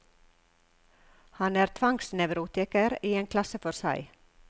Han er tvangsnevrotiker i en klasse for seg.